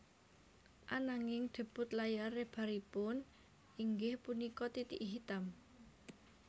Ananging debut layar lebaripun inggih punika Titik Hitam